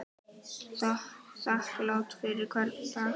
Þakklát fyrir hvern dag.